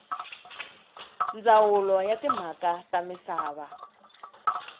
ndzawulo ya timhaka ta misava